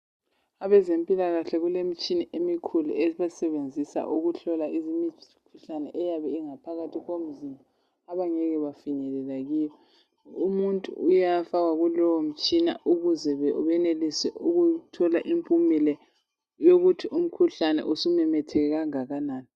Abezempilakahle kulemitshina emikhulu abayisebenzisa ukuhlola imikhuhlane eyabe ingaphakathi komzimba abangeke bafinyelela kiyo umuntu uyafakwa kulowo mtshina ukuze benelise ukuthola impumela yokuthi umkhuhlane usumemetheke kangakanani.